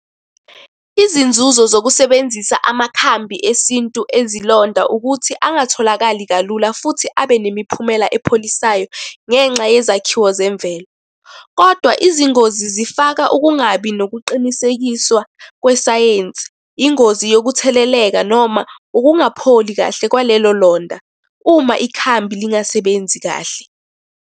Izinzuzo zokusebenzisa amakhambi esintu ezilonda ukuthi angatholakali kalula, futhi abe nemiphumela epholisayo, ngenxa yezakhiwo zemvelo, kodwa izingozi zifaka ukungabi nokuqinisekiswa kwesayensi, ingozi yokutheleleka, noma ukungapholi kahle kwalelo londa. Uma ikhambi lingasebenzi kahle.